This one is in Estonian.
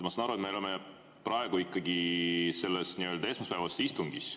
Ma saan aru, et me oleme praegu ikkagi selles nii-öelda esmaspäevases istungis.